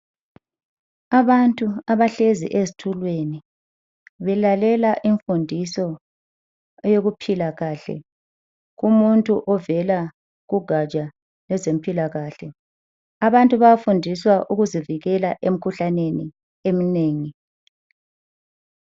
Abantu abahlezi ezitulweni, belalela imfundiso eyokuphila kahle kumuntu ovela kugatsha lwezempilakahle. Abantu bayafundiswa ukuzivikela emkhuhlaneni eminengi.